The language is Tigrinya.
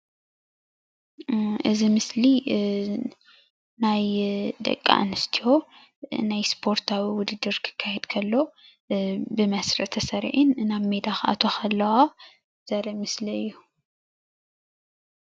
እዚ ምስሊ ናይ ደቂ አንስትዮ ናይ ስፓርታዊ ዉድድር ክካየድ ከሎ ብመስርዕ ተሰሪዕን ናብ ሜዳ ክአትዋ ከለዎ ዘርኢ ምስሊ እዩ፡፡